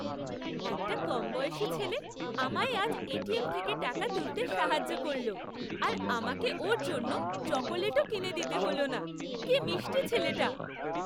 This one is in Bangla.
একটা কমবয়সী ছেলে আমায় আজ এটিএম থেকে টাকা তুলতে সাহায্য করলো আর আমাকে ওর জন্য চকোলেটও কিনে দিতে দিল না। কি মিষ্টি ছেলেটা!